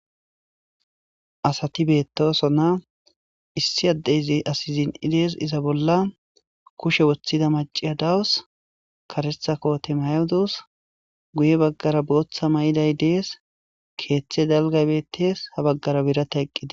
Asati beettosonna issi addeyzi asizin'i dees iza bolla kushe woththida maciya dawus karetha kote mayudus guye baggara booththa may'iday dees keeththe dalgaybettees ha baggara birata eqqide.